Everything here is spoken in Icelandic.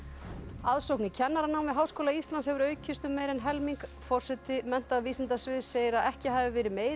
aðsókn í kennaranám við Háskóla Íslands hefur aukist um meira en helming forseti menntavísindasviðs segir að ekki hafi verið meiri